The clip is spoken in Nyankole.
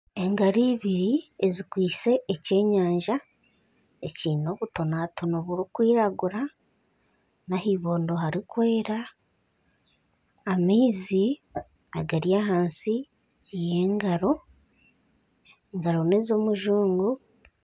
Engaro ibiri ezikwitse ekyenyanja ekiine obutonatono burikwiragura na ahibondo hari kwera. Amaizi agari ahansi y'engaro. Engaro ni ez'omujungu.